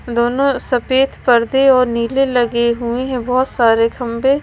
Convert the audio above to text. दोनों सफेद पर्दे और नीले लगे हुए हैं बहुत सारे खंभे--